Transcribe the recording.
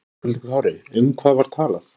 Höskuldur Kári: Um hvað var talað?